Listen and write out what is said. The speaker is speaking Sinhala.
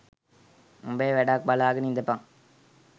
උඹේ වැඩක් බලාගෙන ඉඳපන්